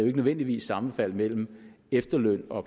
ikke nødvendigvis sammenfald mellem efterløn og